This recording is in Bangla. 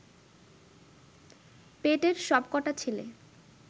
পেটের সব কটা ছেলে